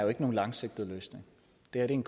der en